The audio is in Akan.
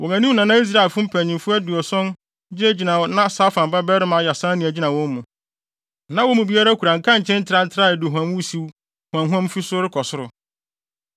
Wɔn anim na na Israelfo mpanyimfo aduɔson gyinagyina a na Safan babarima Yaasania gyina wɔn mu. Na wɔn mu biara kura nkankyee ntrantraa a aduhuam wusiw huamhuam fi so rekɔ soro.